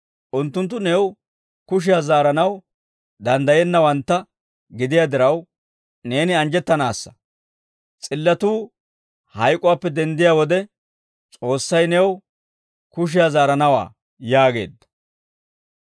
Unttunttu new kushiyaa zaaranaw danddayennawantta gidiyaa diraw, neeni anjjettanaassa. S'illatuu hayk'uwaappe denddiyaa wode S'oossay new kushiyaa zaaranawaa» yaageedda.